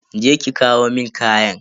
Je ki ki kawo mun kayan.